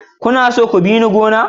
Kuna so ku bi ni gona?